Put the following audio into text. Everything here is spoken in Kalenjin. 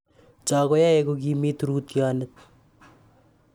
Cho koyae kokimit rootyonet.